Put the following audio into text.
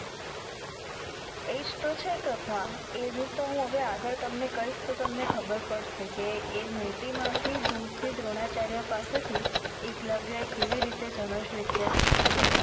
એજ તો છે કથા એનીજ તો આગડ તમને કાઇસ તો તમને ખબર પડસે કે એ મુર્તિ મા થી દૂર થી દ્રોણાચાર્ય પાસે થી એકલવ્ય એ કેવી રીતે ધનુષ વિધ્ય સિખી